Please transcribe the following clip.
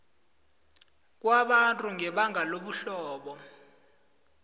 kwabantu ngebanga lobuhlobo